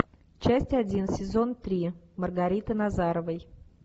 часть один сезон три маргариты назаровой